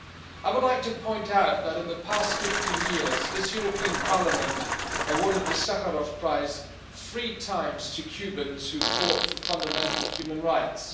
I would like to point out that, in the past 15 years, this European Parliament awarded the Sakharov Prize three times to Cubans who fought for fundamental human rights.